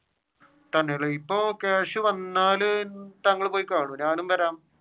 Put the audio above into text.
തന്നെ ഇപ്പൊ ക്യാഷ് വന്നാൽ താങ്കൾ പോയി കാണുവോ? ഞാനും വരാം.